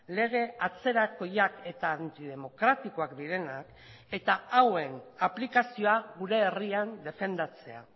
lege atzerakoiak eta antidemokratikoak direnak eta hauen aplikazioa gure herrian defendatzea